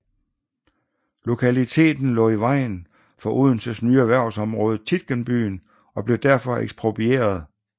Lokaliteten lå i vejen for Odenses nye erhvervsområde Tietgenbyen og blev derfor eksproprieret